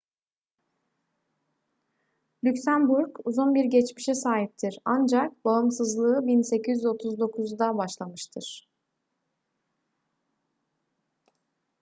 lüksemburg uzun bir geçmişe sahiptir ancak bağımsızlığı 1839'da başlamıştır